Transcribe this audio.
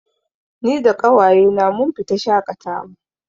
Ni da ƙawaye na mun fita shaƙatawa